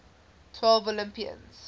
twelve olympians